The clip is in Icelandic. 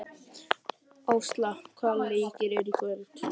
Ásla, hvaða leikir eru í kvöld?